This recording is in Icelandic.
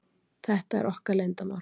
Þetta er okkar leyndarmál.